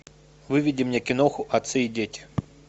выведи мне киноху отцы и дети